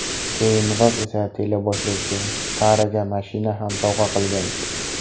Keyinroq esa teleboshlovchi Saraga mashina ham sovg‘a qilgan.